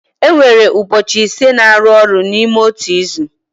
E nwere ụbọchị ise na-arụ ọrụ n'ime otu izu.